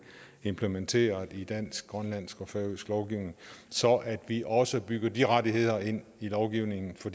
implementeret i dansk grønlandsk og færøsk lovgivning så vi også bygger de rettigheder ind i lovgivningen så